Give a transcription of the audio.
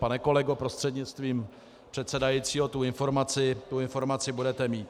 Pane kolego prostřednictvím předsedajícího, tu informaci budete mít.